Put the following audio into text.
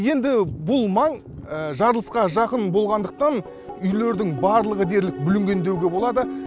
енді бұл маң жарылысқа жақын болғандықтан үйлердің барлығы дерлік бүлінген деуге болады